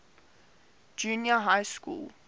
junior high school